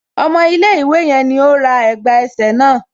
Ọmọ ilẹ̀ ìwé yẹn ní ó ra ẹ̀gbà ẹsẹ̀ náà.